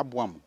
abuamu